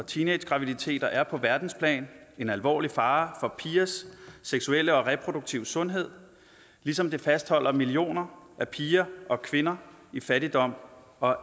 og teenagegraviditeter er på verdensplan en alvorlig fare for pigers seksuelle og reproduktive sundhed ligesom det fastholder millioner af piger og kvinder i fattigdom og